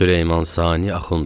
Süleyman Sani Axundov.